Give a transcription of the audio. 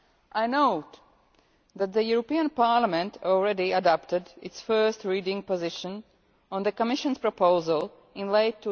I note that the European Parliament already adopted its first reading position on the Commission's proposal in late